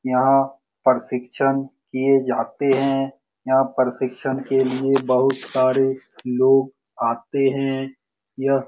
यहाँ प्रशिक्षण किये जाते हैं यहाँ प्रशिक्षण के लिए बहुत सारे लोग आते हैं यह --